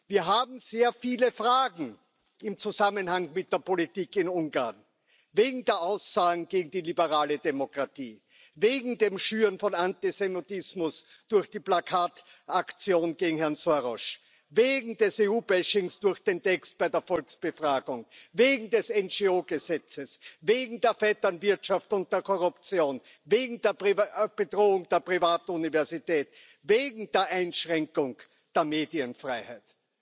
Wir haben sehr viele Fragen im Zusammenhang mit der Politik in Ungarn wegen der Aussagen gegen die liberale Demokratie, wegen dem Schüren von Antisemitismus durch die Plakataktion gegen Herrn Soros, wegen des EU Bashings durch den Text bei der Volksbefragung, wegen des NGO Gesetzes, wegen der Vetternwirtschaft und der Korruption, wegen der Bedrohung der privaten Universität, wegen der Einschränkung der Medienfreiheit.